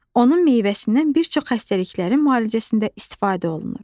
Onun meyvəsindən bir çox xəstəliklərin müalicəsində istifadə olunur.